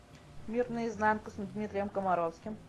мир наизнанку с дмитрием комаровским